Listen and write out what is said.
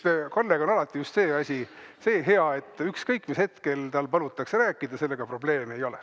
Kalle puhul on alati just see hea asi, et ükskõik, mis hetkel tal palutakse rääkida, sellega probleeme ei ole.